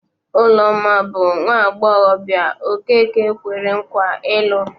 Ụlọma bụ nwaagbọghọbịa Okeke kwere nkwa ịlụ